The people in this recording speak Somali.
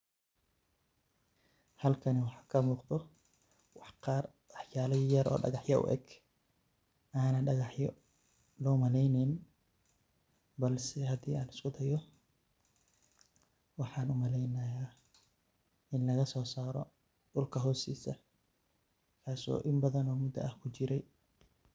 Halkani waxa kamuuqdo wax qaar wax yala yaryar oo dhagaxya u eg anan dhagaxyo loo maleyneynin balse hadii an isku de'o waxan umaleynayo ini lagasoo saaro dhulka hostiisa, kaaso in badan oo muda ah kujire